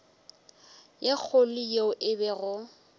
ye kgolo yeo e bego